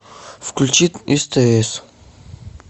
включи стс